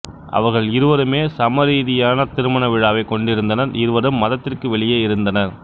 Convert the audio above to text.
அவர்கள் இருவருமே சமயரீதியான திருமண விழாவைக் கொண்டிருந்தனர் இருவரும் மதத்திற்கு வெளியே இருந்தனர்